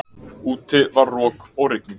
Úti var rok og rigning.